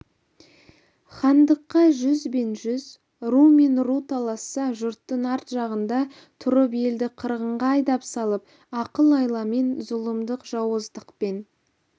хандыққа жүз бен жүз ру мен ру таласса жұрттың арт жағында тұрып елді қырғынға айдап салып ақыл-айламен зұлымдық-жауыздықпен